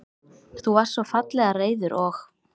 Þú varst svo fallega reiður og.